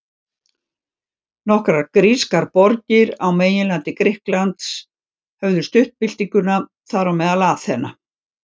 Nokkrar grískar borgir á meginlandi Grikklands höfðu stutt byltinguna, þar á meðal Aþena.